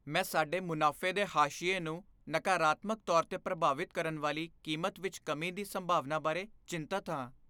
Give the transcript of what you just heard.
ਮੈਂ ਸਾਡੇ ਮੁਨਾਫੇ ਦੇ ਹਾਸ਼ੀਏ ਨੂੰ ਨਕਾਰਾਤਮਕ ਤੌਰ 'ਤੇ ਪ੍ਰਭਾਵਿਤ ਕਰਨ ਵਾਲੀ ਕੀਮਤ ਵਿੱਚ ਕਮੀ ਦੀ ਸੰਭਾਵਨਾ ਬਾਰੇ ਚਿੰਤਤ ਹਾਂ।